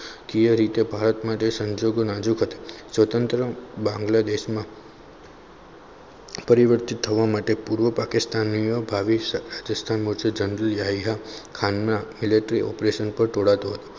Clear રીતે ભારત માટે સંજોગો નાજુક હતા સ્વતંત્ર બાંગ્લાદેશમાં પરિવર્તિત થવા માટે પૂર્વ પાકિસ્તાનના ભાવિ જંગલી હીરા ખાનના miltary operation પર ઢોળાતું હતું.